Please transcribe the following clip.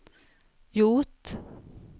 gjort